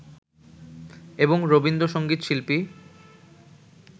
এবং রবীন্দ্রসংগীত শিল্পী